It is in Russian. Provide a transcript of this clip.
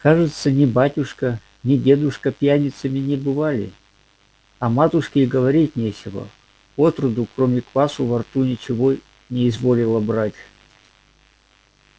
кажется ни батюшка ни дедушка пьяницами не бывали о матушке и говорить нечего отроду кроме квасу во рту ничего не изволила брать